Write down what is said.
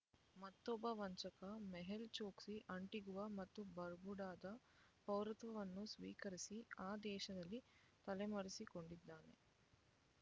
ಮತ್ತೊಬ್ಬ ವಂಚಕ ಮೆಹುಲ್ ಚೊಕ್ಸಿ ಆಂಟಿಗುವಾ ಮತ್ತು ಬರ್ಬುಡಾದ ಪೌರತ್ವವನ್ನು ಸ್ವೀಕರಿಸಿ ಆ ದೇಶದಲ್ಲಿ ತಲೆಮರೆಸಿಕೊಂಡಿದ್ದಾನೆ